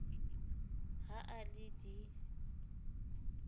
ha a le d e